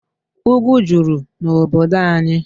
Ugwu juru n'obodo anyị.